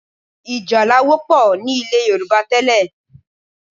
Ì̀jálá wọ́pọ̀ ní ilẹ̀ Yorùbá tẹ́lẹ̀